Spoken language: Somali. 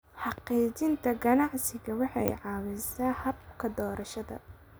Xaqiijinta aqoonsiga waxay caawisaa habka doorashada.